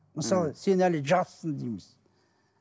мысалы сен әлі жассың дейміз